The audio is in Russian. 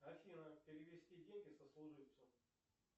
афина перевести деньги сослуживцу